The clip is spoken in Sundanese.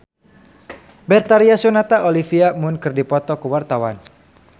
Betharia Sonata jeung Olivia Munn keur dipoto ku wartawan